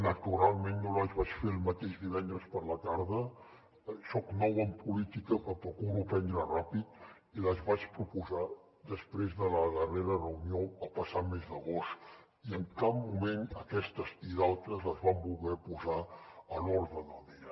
naturalment no les vaig fer el mateix divendres per la tarda soc nou en política però procuro aprendre ràpid i les vaig proposar després de la darrera reunió el passat mes d’agost i en cap moment aquestes i d’altres les van voler posar a l’ordre del dia